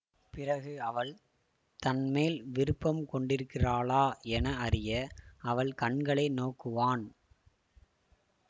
பிறகு அவள் தன்மேல் விருப்பம் கொண்டிருக்கிறாளா என அறிய அவள் கண்களை நோக்குவான்